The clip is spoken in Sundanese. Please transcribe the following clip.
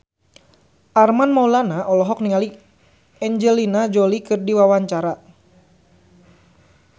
Armand Maulana olohok ningali Angelina Jolie keur diwawancara